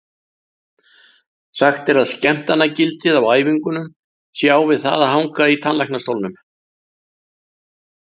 Sagt er að skemmtanagildið á æfingunum sé á við að hanga í tannlæknastólnum.